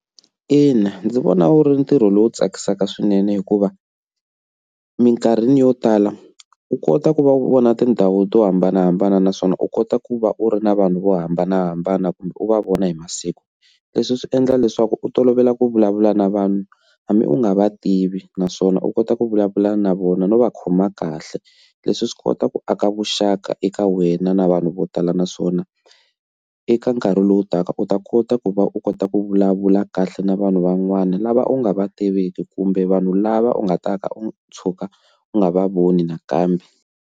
Ina, ndzi vona wu ri ntirho lowu tsakisaka swinene hikuva eminkarhini yo tala u kota ku va u vona tindhawu to hambanahambana naswona u kota ku va u ri na vanhu vo hambanahambana kumbe u va vona hi masiku leswi swi endla leswaku u tolovela ku vulavula na vanhu hambi u nga va tivi naswona u kota ku vulavula na vona no va khoma kahle leswi swi kota ku aka vuxaka eka wena na vanhu vo tala na swona swona eka nkarhi lowu taka u ta kota ku va u kota ku vulavula kahle na vanhu van'wana lava u nga va tiviki kumbe vanhu lava u nga ta ka u tshuka u nga va voni nakambe.